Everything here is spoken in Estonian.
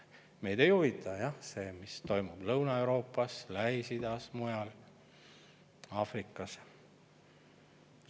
Meid ei huvita see, mis toimub Lõuna-Euroopas, Lähis-Idas, Aafrikas või mujal.